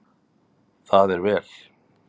Það er vel